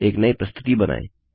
एक नई प्रस्तुति बनाएँ